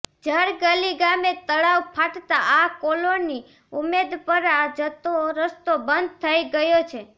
જરગલી ગામે તળાવ ફાટતા આ કોલોની ઉમેદપરા જતો રસ્તો બંધ થઈ ગયો છે